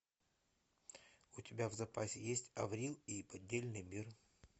у тебя в запасе есть аврил и поддельный мир